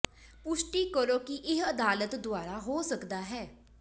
ਪੁਸ਼ਟੀ ਕਰੋ ਕਿ ਇਹ ਅਦਾਲਤ ਦੁਆਰਾ ਹੋ ਸਕਦਾ ਹੈ